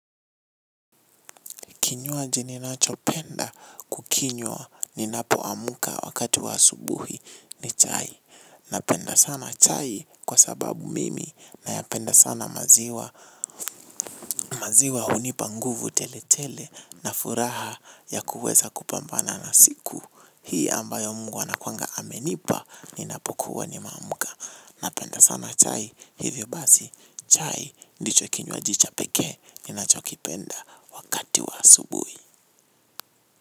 Kinywaji ninachopenda kukinywa ninapoamka wakati wa asubuhi ni chai. Napenda sana chai kwa sababu mimi nayapenda sana maziwa. Maziwa hunipa nguvu tele tele na furaha ya kuweza kupambana na siku. Hii ambayo mungu anakuanga amenipa ni ninapokuwa nimeamka. Napenda sana chai hivyo basi chai ndicho kinywaji cha pekee ninachokipenda wakati wa asubuhi.